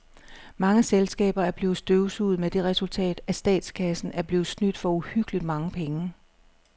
Mange selskaber er blevet støvsuget med det resultat, at statskassen er blevet snydt for uhyggeligt mange penge.